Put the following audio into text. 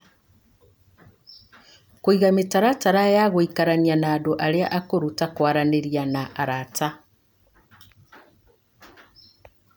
Kũiga mĩtaratara ya gũikarania na andũ arĩa akũrũ, ta kwaranĩria na arata